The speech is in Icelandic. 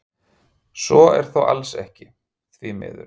Svo er þó alls ekki, því miður.